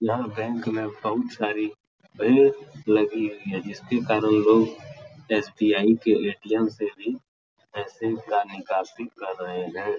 यहाँ बैंक में बहुत सारी भीड़ लगी हुई है। जिसके कारण लोग एस.बी.आई. के ऐ.टी.एम. से भी पैसे का निकासी कर रहे हैं।